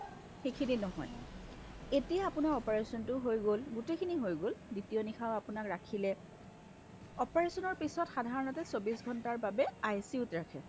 সিখিনি নহয় এতিয়া আপোনাৰ operation টো হৈ গ'ল গোটেইখিনি হৈ গ'ল দ্বিতীয় নিশাও আপোনাক ৰাখিলে operationৰ পিছ্ত সাধাৰণতে চৌবিশ ঘণ্টাৰ বাবে ICUত ৰাখে